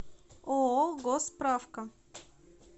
ооо госсправка